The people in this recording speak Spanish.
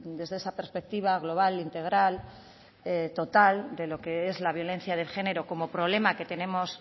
desde esa perspectiva global integral total de lo que es la violencia de género como problema que tenemos